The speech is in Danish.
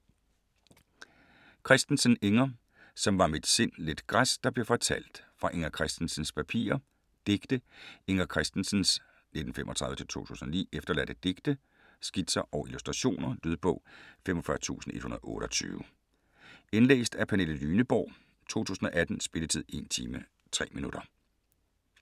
Christensen, Inger: Som var mit sind lidt græs der blev fortalt: fra Inger Christensens papirer Digte. Inger Christensens (1935-2009) efterladte digte, skitser og illustrationer. Lydbog 45128 Indlæst af Pernille Lyneborg, 2018. Spilletid: 1 time, 3 minutter.